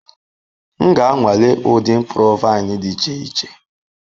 M ga-anwale ụdị mkpụrụ vaịn dị iche iche.